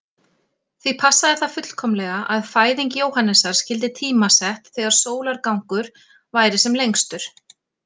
Því passaði það fullkomlega að fæðing Jóhannesar skyldi tímasett þegar sólargangur væri sem lengstur.